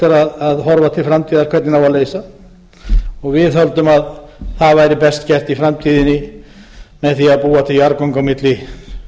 er að horfa til framtíðar hvernig á að leysa við höldum að það væri best gert í framtíðinni með því að búa til jarðgöng á milli